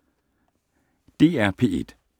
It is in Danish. DR P1